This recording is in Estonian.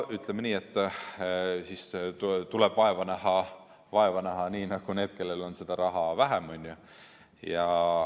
Ütleme nii, et siis tuleb vaeva näha nii nagu nendel, kellel on seda raha vähem.